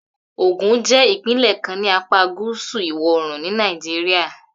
Ogun jẹ́ ìpínlẹ̀ kan ní apá gúúsù ìwọ̀-oòrùn ni Nàìjíríà